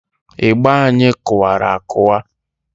Ịgba anyị kụwara akụwa.